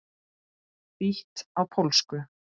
Þýtt á pólsku.